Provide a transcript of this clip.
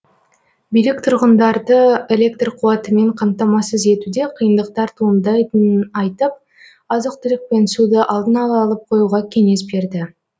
билік тұрғындарды электр қуатымен қамтамасыз етуде қиындықтар туындайтынын айтып азық түлік пен суды алдын ала алып қоюға кеңес берді